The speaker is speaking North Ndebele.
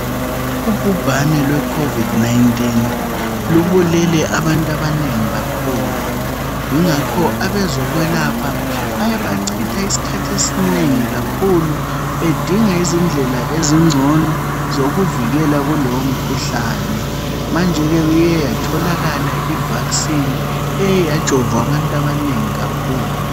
ugubhane lwe COVID 19 lubulele abantu abanengi kakhulu ingakho abezokwelapha bake bachitha isikhathi esinengi kakhulu bedinga izindlela ezingcono zokuvikela kulowo mkhuhlane manje ke iyeyatholakala i vaccine eyajovwa abantu abanengi kakhulu